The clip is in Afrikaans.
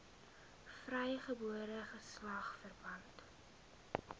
vrygebore geslag verpand